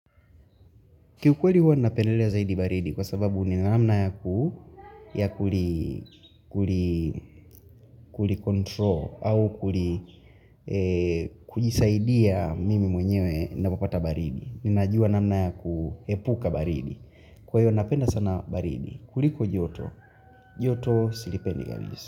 Kiukweli huwa napendelea zaidi baridi kwa sababu ni na namna ya kuli control au kujisaidia mimi mwenyewe napopata baridi. Ninajua namna ya kuhepuka baridi. Kwa hiyo napenda sana baridi. Kuliko joto. Joto silipendi.